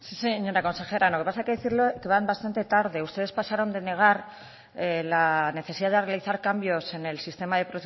sí señora consejera lo que pasa es que hay que decirlo que van bastante tarde ustedes pasaron de negar la necesidad de realizar cambios en el sistema de